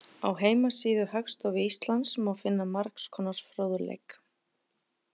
Á heimasíðu Hagstofu Íslands má finna margs konar fróðleik.